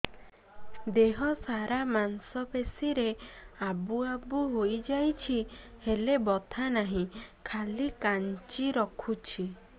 ଦେହ ସାରା ମାଂସ ପେଷି ରେ ଆବୁ ଆବୁ ହୋଇଯାଇଛି ହେଲେ ବଥା ନାହିଁ ଖାଲି କାଞ୍ଚି ରଖୁଛି